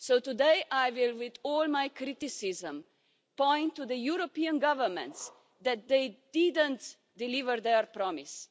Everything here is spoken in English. So today I will, with all my criticism, point to the European governments and say that didn't deliver their promise.